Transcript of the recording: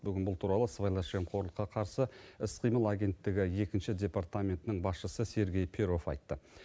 бүгін бұл туралы сыбайлас жемқорлыққа қарсы іс қимыл агенттігі екінші департаментінің басшысы сергей перов айтты